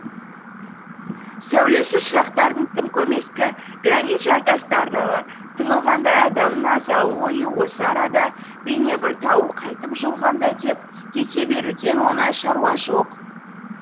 сәулесі шырақтардың тым көмескі гранит жартастарға тығылғандай адамның азалы ойы осы арадабейне бір тауы қайтып жығылғандай деп кете беруден оңай шаруа жоқ